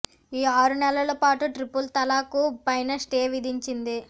ఈ ఆరు నెలల పాటు ట్రిపుల్ తలాక్ పైన స్టే విధించింది